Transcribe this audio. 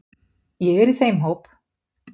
Ég er í þeim hóp.